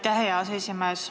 Aitäh, hea aseesimees!